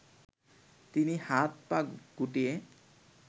তিনি হাত পা গুটিয়ে